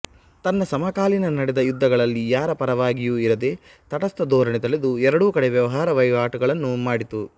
ತನ್ನ ಸಮಕಾಲೀನ ನಡೆದ ಯುದ್ಧಗಳಲ್ಲಿ ಯಾರ ಪರವಾಗಿಯೂ ಇರದೆ ತಟಸ್ಥ ಧೋರಣೆ ತಳೆದು ಎರಡೂ ಕಡೆ ವ್ಯವಹಾರ ವಹಿವಾಟುಗಳನ್ನು ಮಾಡಿತು